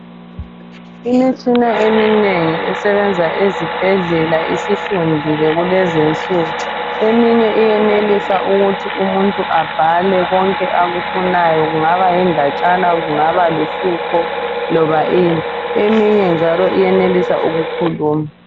Imitshina eminengi esebenza ezibhedlela isifundile kulezinsuku. Eminye iyenelisa ukuthi umuntu abhale konke akufunayo. Kungaba yindatshana, kungaba luhlupho loba ini. Eminye njalo iyenelisa ukukhuluma.